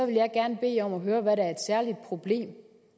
jeg gerne høre hvad der er et særligt problem